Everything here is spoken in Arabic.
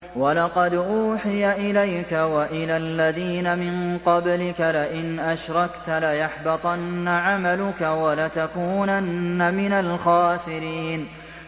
وَلَقَدْ أُوحِيَ إِلَيْكَ وَإِلَى الَّذِينَ مِن قَبْلِكَ لَئِنْ أَشْرَكْتَ لَيَحْبَطَنَّ عَمَلُكَ وَلَتَكُونَنَّ مِنَ الْخَاسِرِينَ